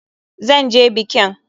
Zan je bikin!